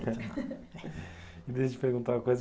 E deixa eu te perguntar uma coisa.